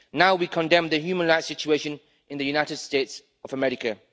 Now we condemn the human rights situation in the United States of America.